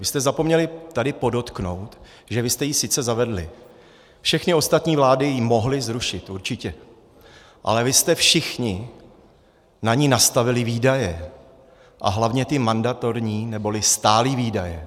Vy jste zapomněli tady podotknout, že vy jste ji sice zavedli, všechny ostatní vlády ji mohly zrušit, určitě, ale vy jste všichni na ni nastavili výdaje, a hlavně ty mandatorní neboli stálé výdaje.